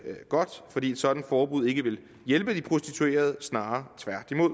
godt fordi et sådant forbud ikke ville hjælpe de prostituerede snarere tværtimod